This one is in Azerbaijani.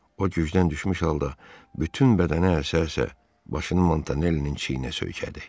O gücdən düşmüş halda bütün bədəni əsə-əsə, başını Montanellinin çiyninə söykədi.